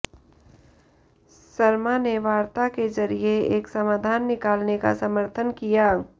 सरमा ने वार्ता के जरिए एक समाधान निकालने का समर्थन किया